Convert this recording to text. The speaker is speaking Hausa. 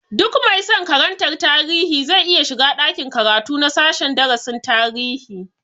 Duk mai san karantar tarihi zai iya shiga ɗakin karatu na sashen darasin tarihi